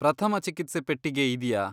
ಪ್ರಥಮ ಚಿಕಿತ್ಸೆ ಪೆಟ್ಟಿಗೆ ಇದ್ಯಾ?